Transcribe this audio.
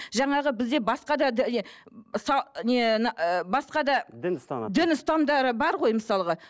жаңағы бізде басқа да басқа да дін ұстанатын дін ұстанымдары бар ғой мысалға